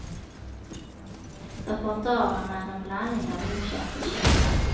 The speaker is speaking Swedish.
Repertoaren är en blandning av okänt och känt.